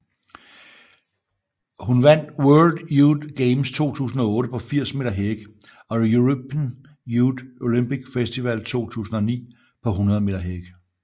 Hun vandt World Youth Games 2008 på 80 meter hæk og European Youth Olympic Festival 2009 på 100 meter hæk